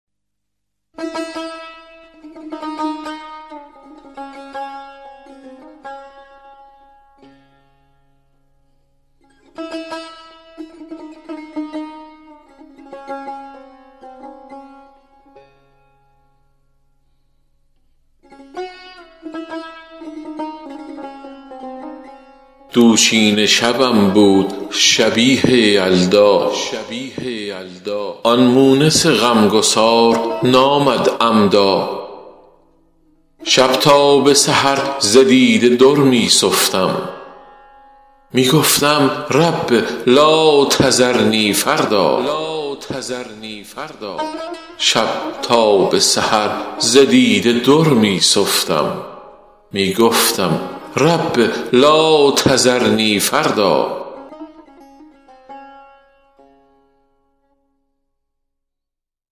دوشینه شبم بود شبیه یلدا آن مونس غم گسار نآمد عمدا شب تا به سحر ز دیده در می سفتم می گفتم رب لاتذرنی فردا